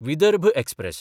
Vidarbha express